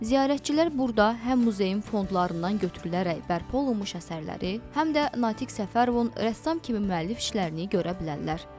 Ziyarətçilər burda həm muzeyin fondlarından götürülərək bərpa olunmuş əsərləri, həm də Natiq Səfərovun rəssam kimi müəllif işlərini görə bilərlər.